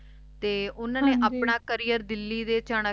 ਤੇ ਉਨ੍ਹਾਂ ਹਨ ਜੀ ਨੇ ਆਪਣਾ career ਦਿੱਲੀ ਦੇ ਚਨਾਕਪੁਰ ਆਪਣਾ